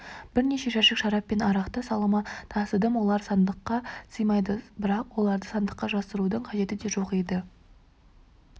бірнеше жәшік шарап пен арақты салыма тасыдым олар сандыққа сыймады бірақ оларды сандыққа жасырудың қажеті де жоқ еді